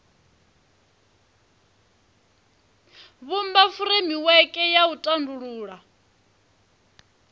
vhumba furemiweke ya u tandulula